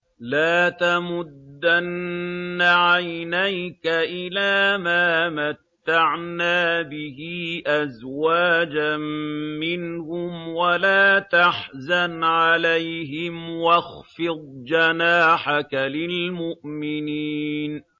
لَا تَمُدَّنَّ عَيْنَيْكَ إِلَىٰ مَا مَتَّعْنَا بِهِ أَزْوَاجًا مِّنْهُمْ وَلَا تَحْزَنْ عَلَيْهِمْ وَاخْفِضْ جَنَاحَكَ لِلْمُؤْمِنِينَ